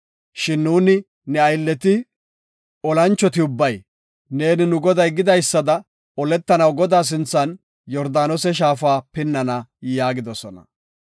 Shin nuuni ne aylleti, olanchoti ubbay, neeni nu goday gidaysada oletanaw Godaa sinthan Yordaanose shaafa pinnana” yaagidosona.